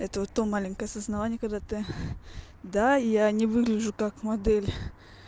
это вот то маленькое осознавание когда ты да я не выгляжу как модель